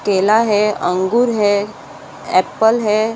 केला है अंगूर है एप्पल है।